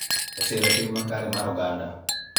E siro tim makare mar oganda.